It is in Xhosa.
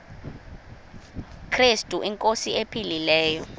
krestu inkosi ephilileyo